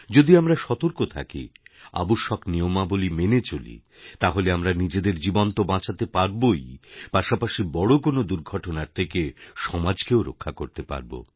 যদি আমরা সতর্ক থাকি আবশ্যক নিয়মাবলী মেনে চলি তাহলে আমরা নিজেদের জীবন তো বাঁচাতে পারবই পাশাপাশি বড় কোনও দুর্ঘটনার থেকে সমাজকেও রক্ষা করতে পারব